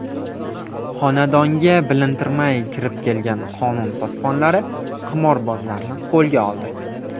Xonadonga bilintirmay kirib kelgan qonun posbonlari qimorbozlarni qo‘lga oldi.